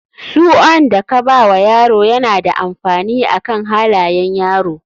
Suan da ka bawa yaro yana da amfani akan halayan yaro.